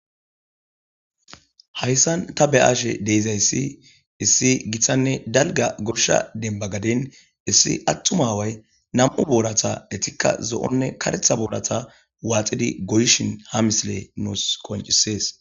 Hayssan ta beyashe dizayssi issi gooshshanne dembba gadden issi attuma aaway nam'u boorata eettikka zo'onne kareththa boorata waxxidi gooyishin ha misiley nuus qonccises